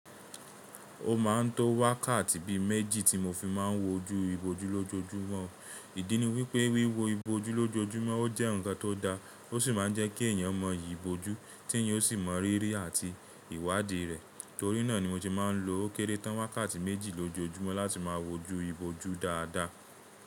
Ó máa ń to wákàtì bí méjì tí mo fi máa ń wojú ìbòjú lójoojúmọ́. Ìdí ni wípé wíwo ìbòjú lójoojúmọ́ ó jẹ́ ǹkan tó da, ó sì máa ń jẹ́ kí èèyàn mọ yìì ìbòjú, tí èèyàn ó sì mọ rírì àti ìwádìí rẹ̀. Torí náà ni mo se máa ń lo ókéré tán wákàtí méjì lójoojúmọ́ láti máa wojú ìbòjú dáadáa.